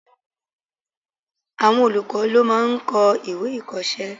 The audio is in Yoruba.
Àwọn olùkọ́ ló máà ń kọ́ ìwé-ìkọ̀ọ́sẹ́